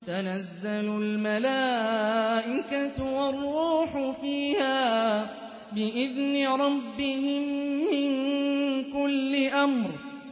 تَنَزَّلُ الْمَلَائِكَةُ وَالرُّوحُ فِيهَا بِإِذْنِ رَبِّهِم مِّن كُلِّ أَمْرٍ